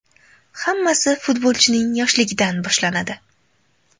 Hammasi futbolchining yoshligidan boshlanadi.